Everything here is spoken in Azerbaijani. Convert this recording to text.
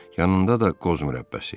Yanında da qoz mürəbbəsi.